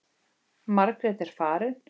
Margrét er farin.